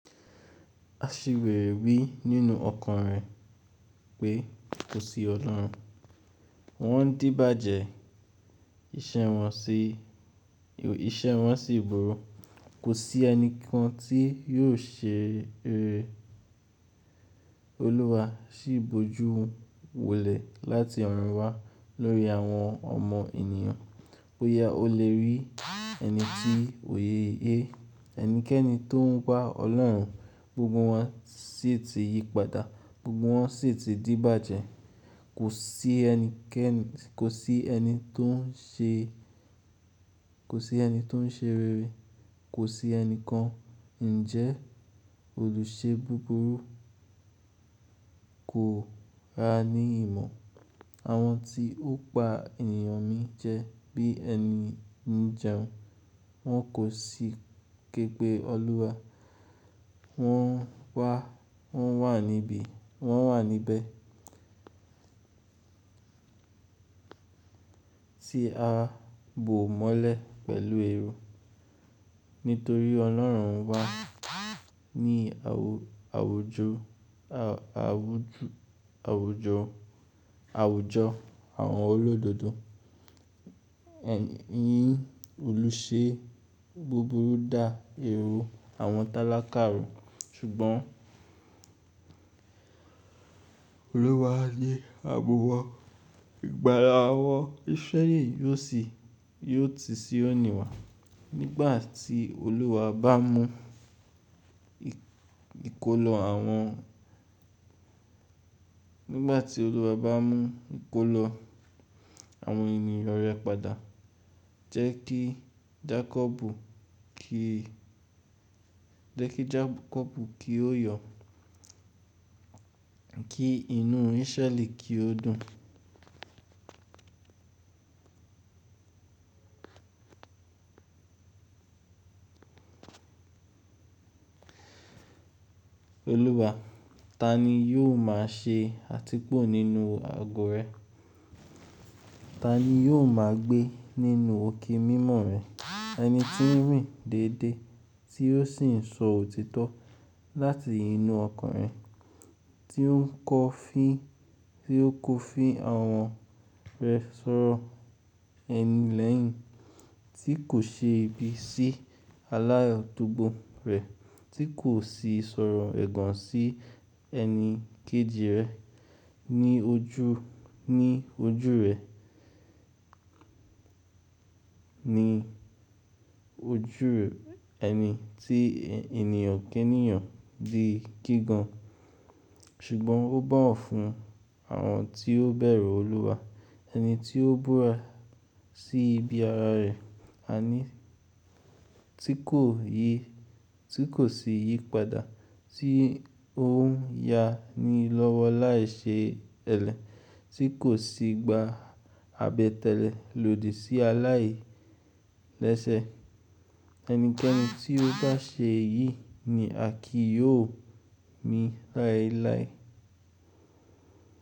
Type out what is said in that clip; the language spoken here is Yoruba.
Aṣiwèrè wí nínú ọkàn rẹ̀ pé kò sí Ọlọ́run. Wọ́n díbàjẹ́, iṣẹ́ wọn sì, iṣẹ́ wọn sì burú. Kò sí ẹni kan tí yóò ṣe rere. Olúwa sì boju wòlẹ̀ láti ọ̀run wá lórí àwọn ọmọ ènìyàn. Ó yá, ó le rí ẹni tí òye yé. Ẹnikẹ́ni tó ń gba Ọlọ́run, gbogbo wọn sì ti yípadà, gbogbo wọn sì ti díbàjẹ́. Kò sí ẹnikẹ́ni, kò sí ẹni tó ń ṣe, kò sí ẹni tó ń ṣe rere. Kò sí ẹni kan. Ǹjẹ́ olùṣe búburú kò ra ní ìmọ̀. Àwọn tí ó pa ènìyàn mi jẹ bí ẹni ń jẹun. Wọn kò sì képe Olúwa. Wọ́n wá, wọ́n wà níbí, wọ́n wà níbẹ̀ tí a bò mọ́lẹ̀ pẹ̀lú èrò. Nítorí Ọlọ́run wá ní àwùjọ, àwùjọ, àwùjọ, àwùjọ àwọn olódodo. Ẹ̀yin olùṣe búburú dà èrò àwọn tálákàrò. Ṣùgbọ́n Olúwa yé àbọ̀wọ̀n Ìgbàlà awọ̀n Israẹli yóò sì, yóò ti síòní wà. Nígbà tí Olúwa bá mú ìkólọ àwọn, nígbà tí Olúwa bá mú ìkólọ àwọn ènìyàn rẹ̀ padà, jẹ́ kí Jakọbu kí, jẹ́ kí Jakọbu kí ó yọ, kí inú Israẹli kí ó dùn. Olúwa, ta ni yóò máa ṣe àtìpó nínú àgò rẹ? Ta ni yóò máa gbé nínú òkè mímọ́ rẹ̀? Ẹni tí ń rìn déédéé tí ó sì ń sọ òtítọ́ láti inú ọkàn rẹ̀. Tí ó ń kọ́ fí, tí ó kọ́ fí àwọn rẹ̀ sọ̀rọ̀ ẹni lẹ́yìn tí kò ṣe ibi sí aláyo tòógbò rẹ̀, tí kò sì sọ̀rọ̀ ẹ̀gàn sí ẹni kejì rẹ̀ ní ojú, ní ojú rẹ̀, ní ojú rẹ̀ ẹni tí ènìyàn kẹ́niyàn di kígàn. Ṣùgbọ́n ó bowọ̀ fún àwọn tí ó bẹ̀rù Olúwa. Ẹni tí ó búra sí ibi ara rẹ̀, àní tí kò yì, tí kò sì yípadà, tí ó ń ya ni lọ́wọ́ láìṣe ẹlẹ́, tí kò sì gba àbẹ̀tẹ́lẹ̀ lòdì sí aláìlẹ́sẹ̀. Ẹnikẹ́ni tí ó bá ṣe èyí ni àkí yóò mi láéláé.